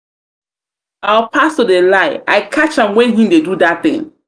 our pastor dey lie i catch am when he dey do that thing.